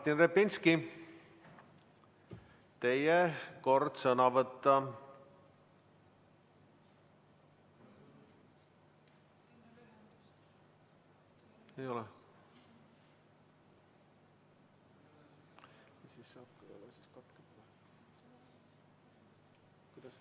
Martin Repinski, teie kord sõna võtta!